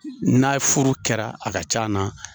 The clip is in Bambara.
N'a ye furu kɛra a ka ca na.